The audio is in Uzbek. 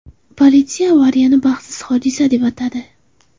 Politsiya avariyani baxtsiz hodisa deb atadi.